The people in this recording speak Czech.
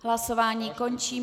Hlasování končím.